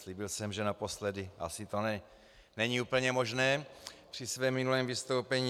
Slíbil jsem, že naposledy - asi to není úplně možné - při svém minulém vystoupení.